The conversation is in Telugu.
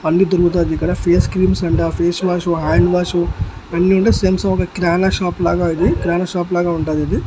అన్ని బోరుకుతాయ్ ఇక్కడ face creams and face wash hand wash అన్ని వుండాయ్ సేమ్ కిరాన్ షాప్ లాగా ఇది కిరాణా షాప్ లాగా ఉంటది ఇది.